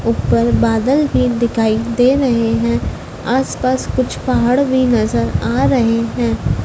ऊपर बादल भी दिखाई दे रहे हैं आसपास कुछ पहाड़ भी नजर आ रहे हैं।